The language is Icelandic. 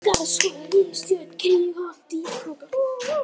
Skarðshólar, Rifstjörn, Kríuholt, Dýjakrókar